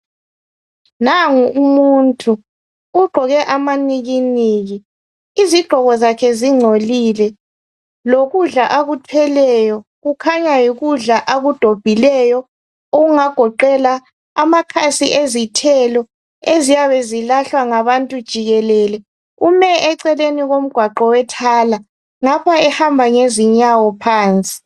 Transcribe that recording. Nangu umuntu ugqoke amanikiniki. Izigqoko zakhe zingcolile. Lokudla akuthweleyo kukhanya yikudla akudobhileyo okungagoqela amakhasi ezithelo eziyabe zilahlwa ngabantu jikelele. Ume eceleni komgwaqo wethala ngapha ehamba ngezinyawo phansi.